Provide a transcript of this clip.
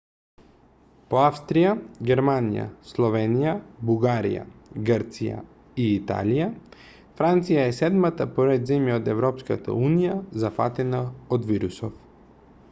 по австрија германија словенија бугарија грција и италија франција е седмата по ред земја од европската унија зафатена од вирусов